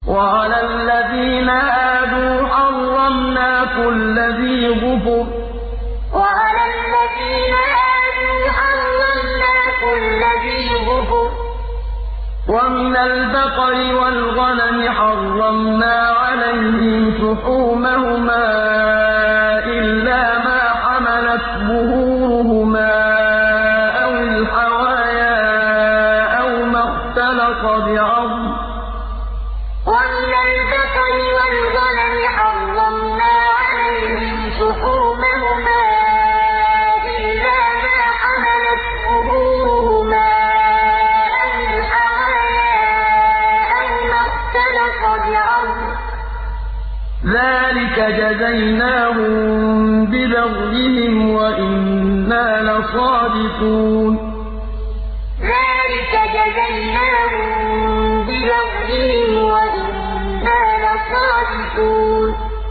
وَعَلَى الَّذِينَ هَادُوا حَرَّمْنَا كُلَّ ذِي ظُفُرٍ ۖ وَمِنَ الْبَقَرِ وَالْغَنَمِ حَرَّمْنَا عَلَيْهِمْ شُحُومَهُمَا إِلَّا مَا حَمَلَتْ ظُهُورُهُمَا أَوِ الْحَوَايَا أَوْ مَا اخْتَلَطَ بِعَظْمٍ ۚ ذَٰلِكَ جَزَيْنَاهُم بِبَغْيِهِمْ ۖ وَإِنَّا لَصَادِقُونَ وَعَلَى الَّذِينَ هَادُوا حَرَّمْنَا كُلَّ ذِي ظُفُرٍ ۖ وَمِنَ الْبَقَرِ وَالْغَنَمِ حَرَّمْنَا عَلَيْهِمْ شُحُومَهُمَا إِلَّا مَا حَمَلَتْ ظُهُورُهُمَا أَوِ الْحَوَايَا أَوْ مَا اخْتَلَطَ بِعَظْمٍ ۚ ذَٰلِكَ جَزَيْنَاهُم بِبَغْيِهِمْ ۖ وَإِنَّا لَصَادِقُونَ